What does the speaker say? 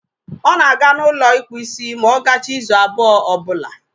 Ọ na-aga n'ụlọ ịkpụ isi ma ọ gachaa izu abụọ ọbụla